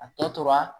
A tɔ tora